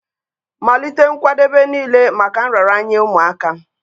Malite nkwadebe niile maka nraranye ụmụaka